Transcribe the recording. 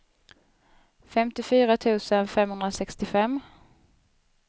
femtiofyra tusen femhundrasextiofem